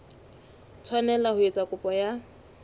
tshwanela ho etsa kopo ya